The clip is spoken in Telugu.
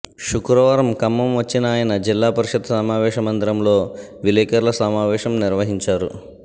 శుక్రవారం ఖమ్మం వచ్చిన ఆయన జిల్లా పరిషత్ సమావేశ మందిరంలో విలేకర్ల సమావేశం నిర్వహించారు